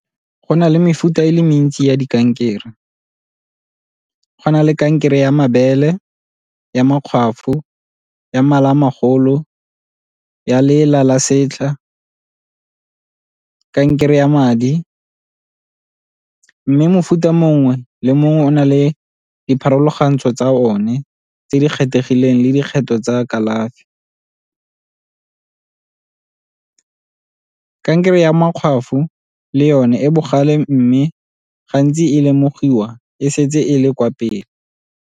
Go na le mefuta e le mentsi ya di kankere. Go na le kankere ya mabele, ya makgwafo, ya mala a magolo, ya lela la setlha, kankere ya madi. Mme mofuta mongwe le mongwe o na le dipharologantsho tsa one tse di kgethegileng le dikgetho tsa kalafi. Kankere ya makgwafo le yone e bogale mme gantsi e lemogiwa e setse e le kwa pele.